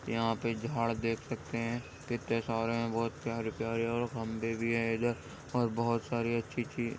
यहाँ पर एक झाड़ देख सकते हैं कितने सारे हैं बहुत सारे प्यारे प्यारे और खम्बे भी हैं इधर और बहुत सारी अच्छी अच्छी --